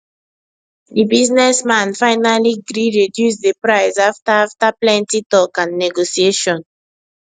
the business man finally gree reduce the price after after plenty talk and negotiation